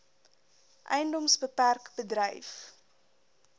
edms bpk bedryf